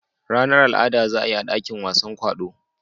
Ranar al'ada za a yi a dakin wasan kwaɗo.